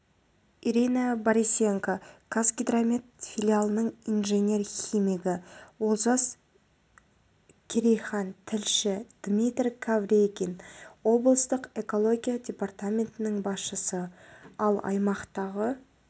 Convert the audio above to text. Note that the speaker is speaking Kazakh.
ирина борисенко қазгидромет филиалының инженер-химигі олжас керейхан тілші дмитрий кавригин облыстық экология департаментінің басшысы ал аймақтағы